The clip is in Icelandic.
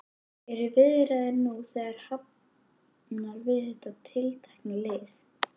Eru viðræður nú þegar hafnar við þetta tiltekna lið?